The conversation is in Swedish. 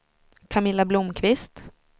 Camilla Blomkvist